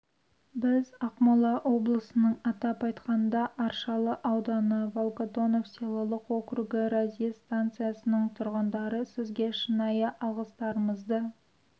біз ақмола облысының атап айтқанда аршалы ауданы волгодонов селолық округі разъезд станциясының тұрғындары сізге шынайы алғыстарымызды